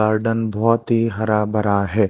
Garden बहुत ही हरा भरा है।